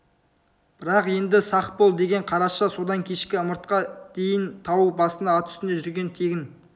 бірақ енді сақ бол деген қараша содан кешкі ымыртқа дейін тау басында ат үстінде жүрген тегін